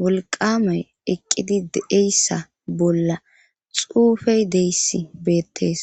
wolqqamay eqqidi de'eyssa bolla xuufe deyss beetees.